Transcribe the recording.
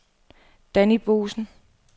Danni Boesen